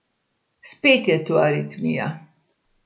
Spet je tu Aritmija.